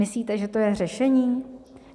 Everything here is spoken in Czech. Myslíte, že to je řešení?